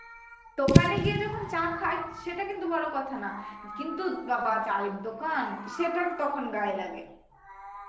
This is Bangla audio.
দোকান এ গিয়ে যখন চা খায় সেটা কিন্তু বড় কথা না, কিন্তু বা~ বা~ চায়ের দোকান সেটা তখন গায়ে লাগে